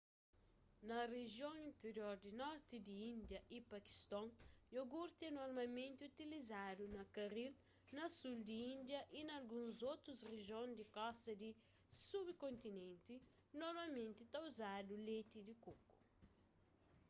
na rijion interior di norti di índia y pakiston iogurti é normalmenti utilizadu na karil na sul di índia y na alguns otus rijion di kosta di subkontinenti normalmenti ta uzadu leti di koku